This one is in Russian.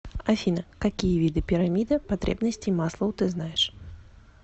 афина какие виды пирамида потребностей маслоу ты знаешь